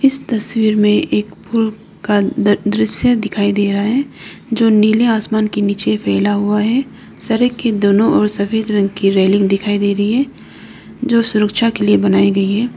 इस तस्वीर में एक पुल का द दृश्य दिखाई दे रहा है जो नीले आसमान के नीचे फैला हुआ है सड़क के दोनों ओर सफेद रंग की रेलिंग दिखाई दे रही है जो सुरक्षा के लिए बनाई गई है।